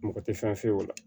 Mɔgɔ tɛ fɛn f'o la